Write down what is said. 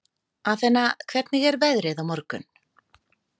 Athena, hvernig er veðrið á morgun?